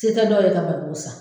Te ta dɔw ye ka barikon sa